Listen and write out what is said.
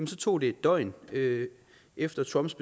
så tog det et døgn efter trumps